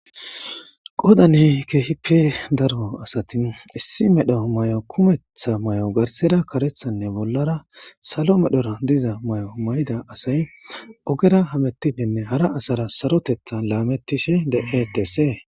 Qodane keehippi daro asatin issi medho may7o kumettha may7o garsera karethanne bollara salo medhora diza may7o may7ida asay ogera hametidenne hara asara sarotetha laamettishe de7e dessee.